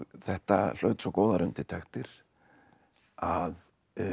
þetta hlaut svo góðar undirtektir að